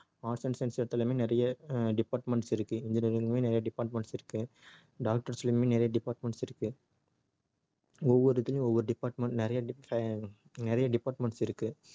arts and science எடுத்தாலுமே நிறைய அஹ் departments இருக்கு engineerng லயுமே நிறைய departments இருக்கு doctors லயுமே நிறைய departments இருக்கு ஒவ்வொரு இதுலயும் ஒவ்வொரு department நிறைய dep~ ஆஹ் இருக்கு நிறைய departments இருக்கு